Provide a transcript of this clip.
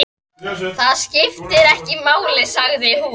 Það skiptir engu máli, sagði hún.